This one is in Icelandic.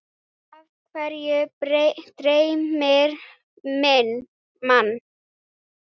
Af hverju dreymir mann?